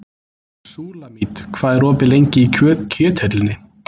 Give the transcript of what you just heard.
Súlamít, hvað er opið lengi í Kjöthöllinni?